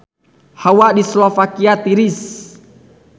Hawa di Slovakia tiris